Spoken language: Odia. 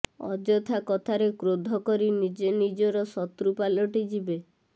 ଅଯଥା କଥାରେ କ୍ରୋଧ କରି ନିଜେ ନିଜର ଶତ୍ରୁ ପାଲିଟିଯିବେ